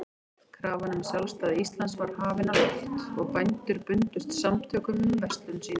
Krafan um sjálfstæði Íslands var hafin á loft, og bændur bundust samtökum um verslun sína.